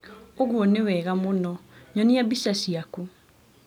ũguo nĩ wega mũno. Nyonia mbica ciaku.